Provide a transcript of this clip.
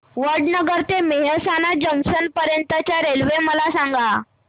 वडनगर ते मेहसाणा जंक्शन पर्यंत च्या रेल्वे मला सांगा